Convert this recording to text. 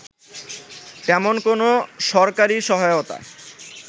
তেমন কোনো সরকারি সহায়তা